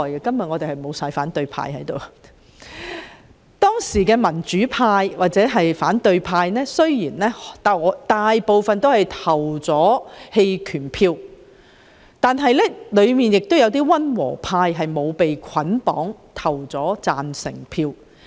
當時，儘管大部分民主派或反對派議員均投了棄權票，但亦有一些溫和派議員沒有被捆綁而投下贊成票。